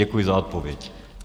Děkuji za odpověď.